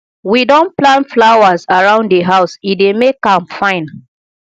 we don plant flowers around di house e dey make am fine